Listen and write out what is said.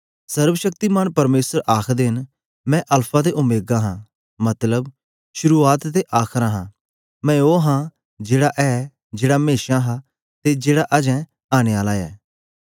सर्वशक्तिमान परमेसर आखदे न मैं अल्फा ते ओमेगा हां मतलब शुरुआत ते आखर हां मैं ओ हां जेड़ा ए जेड़ा मेशा हां ते जेड़ा अजें आनेआला ए